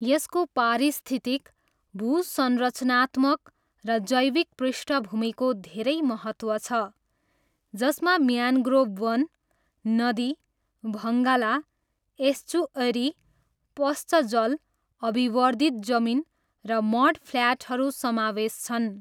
यसको पारिस्थितिक, भूसंरचनात्नमक र जैविक पृष्ठभूमिको धेरै महत्त्व छ, जसमा म्यानग्रोभ वन, नदी, भङ्गाला, एस्चुएरी, पश्च जल, अभिवर्धित जमिन र मडफ्ल्याटहरू समावेश छन्।